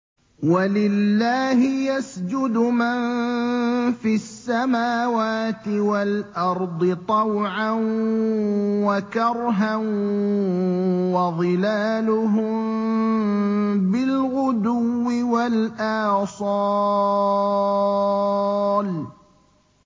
وَلِلَّهِ يَسْجُدُ مَن فِي السَّمَاوَاتِ وَالْأَرْضِ طَوْعًا وَكَرْهًا وَظِلَالُهُم بِالْغُدُوِّ وَالْآصَالِ ۩